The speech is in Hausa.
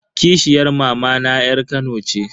Kishiyar mamana yar kano ce.